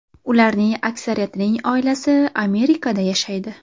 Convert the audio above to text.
Ularning aksariyatining oilasi Amerikada yashaydi.